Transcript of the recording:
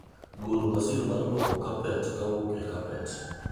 golo masin mar lwoko kapet kowuok e kapet